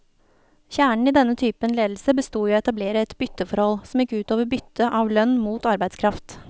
Kjernen i denne typen ledelse bestod i å etablere et bytteforhold, som gikk ut over byttet av lønn mot arbeidskraft.